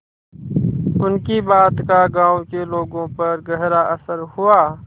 उनकी बात का गांव के लोगों पर गहरा असर हुआ